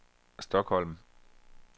Stockholm